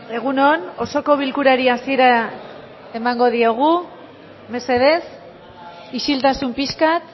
egun on osoko bilkurari hasiera emango diogu mesedez isiltasun pixka bat